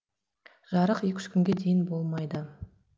жарық екі үш күнге дейін болмайды